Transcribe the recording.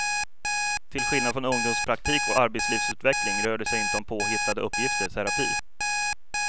Till skillnad från ungdomspraktik och arbetslivsutveckling rör det sig inte om påhittade uppgifter, terapi.